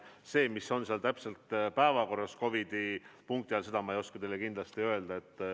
Seda, mis seal täpselt on päevakorras COVID-i punkti all, ma ei oska teile kindlasti öelda.